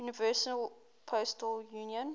universal postal union